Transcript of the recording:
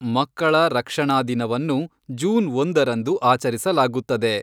ಮಕ್ಕಳ ರಕ್ಷಣಾ ದಿನವನ್ನು ಜೂನ್ ಒಂದರಂದು ಆಚರಿಸಲಾಗುತ್ತದೆ.